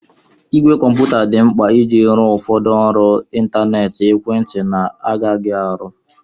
Ìgwè kọmputa dị mkpa iji rụọ ụfọdụ ọrụ ịntanetị ekwentị na-agaghị arụ.